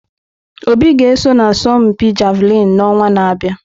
Obi ga-eso n'asọmpi Javelin n'ọnwa na-abịa.